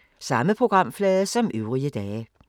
Samme programflade som øvrige dage